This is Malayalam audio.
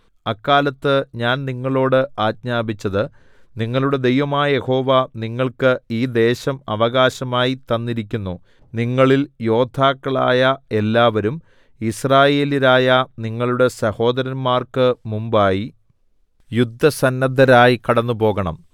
അക്കാലത്ത് ഞാൻ നിങ്ങളോട് ആജ്ഞാപിച്ചത് നിങ്ങളുടെ ദൈവമായ യഹോവ നിങ്ങൾക്ക് ഈ ദേശം അവകാശമായി തന്നിരിക്കുന്നു നിങ്ങളിൽ യോദ്ധാക്കളായ എല്ലാവരും യിസ്രായേല്യരായ നിങ്ങളുടെ സഹോദരന്മാർക്ക് മുമ്പായി യുദ്ധസന്നദ്ധരായി കടന്നുപോകണം